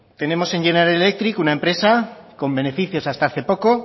tenemos en general electric una empresa con beneficios hasta hace poco